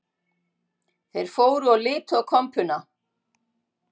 Þeir fóru og litu á kompuna